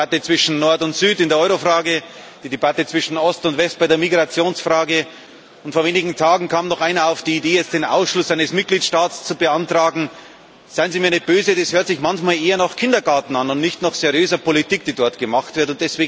Die Debatte zwischen Nord und Süd in der Eurofrage, die Debatte zwischen Ost und West bei der Migrationsfrage, und vor wenigen Tagen kam noch einer auf die Idee, jetzt den Ausschluss eines Mitgliedstaats zu beantragen. Seien Sie mir nicht böse, aber das hört sich manchmal eher nach Kindergarten an und nicht nach seriöser Politik, die dort gemacht wird.